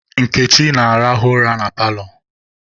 Nkechi na-arahụ ụra na paalọ